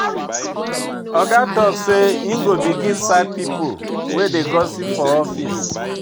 Oga tok sey im go begin sack pipo wey dey gossip for office.